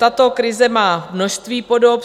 Tato krize má množství podob.